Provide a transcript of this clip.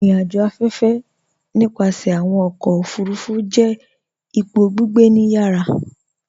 Irìn-àjò afẹ́fẹ̀, nípasẹ̀ awọn ọkọ̀ ofurufu, jẹ́ ìpọ̀ gbígbẹ̀ ní ìyàrà